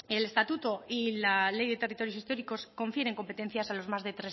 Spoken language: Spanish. el estatuto y la ley de territorios históricos confieren competencias a las más de